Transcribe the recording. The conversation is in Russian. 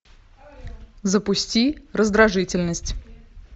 запусти раздражительность